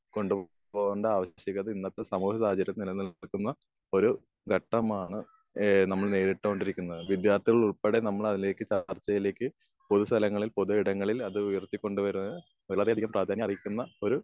കൊണ്ട് പോകേണ്ട ആവശ്യകത ഇന്നത്തെ സാമൂഹ്യ രാജ്യത്ത് നിലനിർത്തുന്ന ഒരു ഘട്ടമാണ് ഏഹ് നമ്മൾ നേരിട്ട് കൊണ്ടിരിക്കുന്നത്. വിദ്യാർത്ഥികൾ ഉൾപ്പെടെ നമ്മൾ അതിലേക്ക് ചർച്ചയിലേയ്ക്ക് പൊതു സ്ഥലങ്ങളിൽ പൊതു ഇടങ്ങളിൽ അത് ഉയർത്തി കൊണ്ട് വരാണ്. വളരെ അധികം പ്രാധാന്യം അർഹിക്കുന്ന ഏഹ് ഒരു